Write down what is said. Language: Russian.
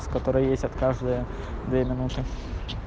с которой ездят каждые две минуты